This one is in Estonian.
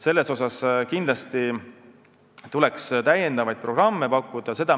Selles mõttes kindlasti tuleks uusi programme pakkuda.